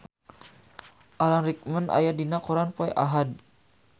Alan Rickman aya dina koran poe Ahad